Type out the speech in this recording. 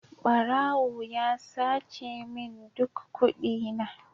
Barawo ya sace min duk kudina.